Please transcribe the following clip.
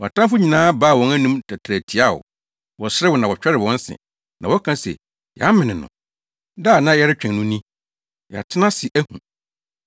Wʼatamfo nyinaa baa wɔn anom tɛtrɛɛ tia wo; wɔserew na wɔtwɛre wɔn se na wɔka se, “Yɛamene no. Da a na yɛretwɛn no ni; Yɛatena ase ahu.”